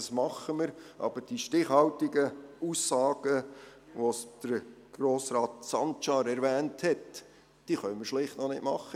Das tun wir, aber die stichhaltigen Aussagen, die Grossrat Sancar erwähnt hat, können wir schlichtweg nicht machen.